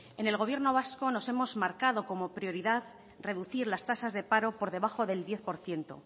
en el gobierno vasco nos hemos marcado como prioridad reducir las tasas de paro por debajo del diez por ciento